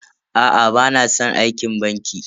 Aa bana san aikin banki.